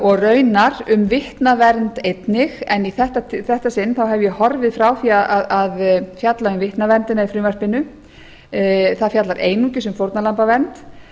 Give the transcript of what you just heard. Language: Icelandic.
og raunar um vitnavernd einnig en í þetta sinn hef ég horfið frá því að fjalla um vitnaverndina í frumvarpinu það fjallar einungis um fórnarlambavernd